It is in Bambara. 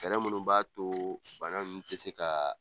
Fɛɛrɛ minnu b'a to bana ninnu tɛ se ka